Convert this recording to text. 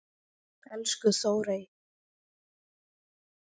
Elsku Þórey.